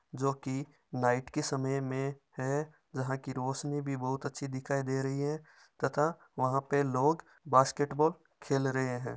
जोकि नाईट का समय में है। जहां की रोशनी भी बहुत अच्छी दिखाई दे रही हैं तथा वहा पर लोग बास्केट बॉल खेल रहे हैं।